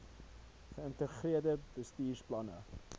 ge ïntegreerde bestuursplanne